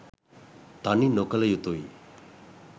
තනි නොකළ යුතුයි